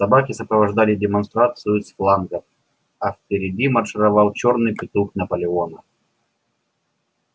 собаки сопровождали демонстрацию с флангов а впереди маршировал чёрный петух наполеона